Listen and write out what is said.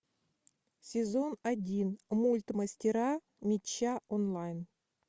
сезон один мульт мастера меча онлайн